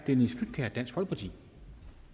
så til